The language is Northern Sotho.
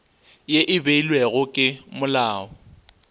ye e beilwego ke molao